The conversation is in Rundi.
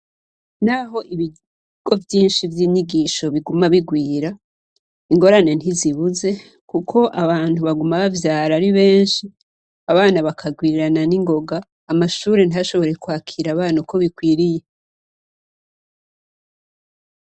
N'aho ibigo vyinshi vy'inyigisho biguma bigwira, ingorane ntizibuze kuko abantu baguma bavyara ari benshi abana bakagwirana n'ingoga ,amashure ntashobore kwakira abana uko bikwiriye.